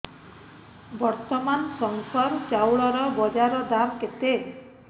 ବର୍ତ୍ତମାନ ଶଙ୍କର ଚାଉଳର ବଜାର ଦାମ୍ କେତେ